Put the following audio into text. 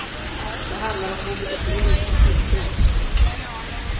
Det handlar om mobilisering och tilltro.